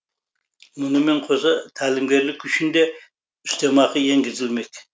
мұнымен қоса тәлімгерлік үшін де үстемақы енгізілмек